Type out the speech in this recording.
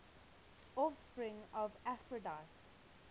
offspring of aphrodite